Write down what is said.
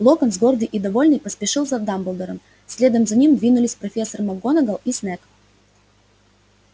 локонс гордый и довольный поспешил за дамблдором следом за ним двинулись профессор макгонагалл и снегг